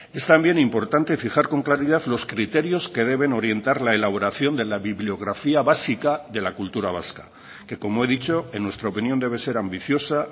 es también importante fijar con claridad los criterios que deben orientar la elaboración de la bibliografía básica de la cultura vasca que como he dicho en nuestra opinión debe ser ambiciosa